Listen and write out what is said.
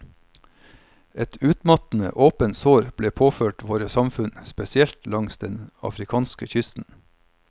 Et utmattende, åpent sår ble påført våre samfunn, spesielt langs den afrikanske kysten.